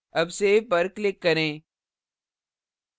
अब save पर click करें